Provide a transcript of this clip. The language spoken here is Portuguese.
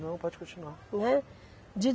Não, pode continuar, né. De